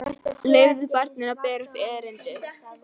Leyfðu barninu að bera upp erindið.